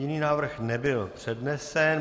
Jiný návrh nebyl přednesen.